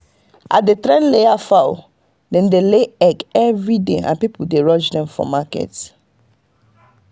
i dey train layer fowl—dem dey lay egg every day and people dey rush dem for market.